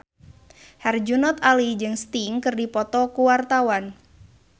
Herjunot Ali jeung Sting keur dipoto ku wartawan